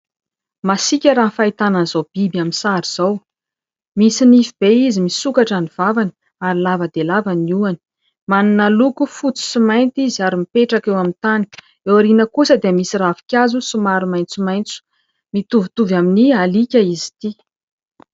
masiaka raha ny fahitana an'izao biby amin'ny izao misy nify be izy misokatra ny vavany ary lava dia lava ny hohony manana loko fotsy sy mainty izy ary mipetraka eo amin'ny tany eo aoriana kosa dia misy ravin-kazo sy maro maintsomaintso mitovitovy amin'ny aliaka izy ity